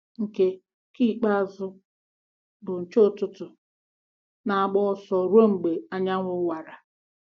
Nke Nke ikpeazụ, bụ́ nche ụtụtụ, na-agba ọsọ ruo mgbe anyanwụ wara.